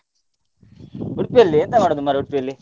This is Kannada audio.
Udupi ಯಲ್ಲಿ ಎಂತ ಮಾಡುದು Udupi ಯಲ್ಲಿ?